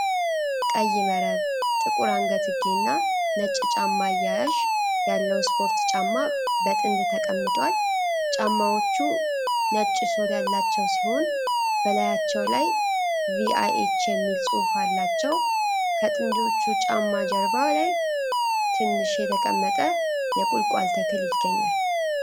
ቀይ መረብ፣ ጥቁር አንገትጌና ነጭ ጫማ አያያዥ ያለው ስፖርት ጫማ በጥንድ ተቀምጧል። ጫማዎቹ ነጭ ሶል ያላቸው ሲሆን፣ በላያቸው ላይ "VIH" የሚል ጽሁፍ አላቸው። ከጥንዶቹ ጫማ ጀርባ ላይ ትንሽ የተቀመጠ የቁልቋል ተክል ይገኛል።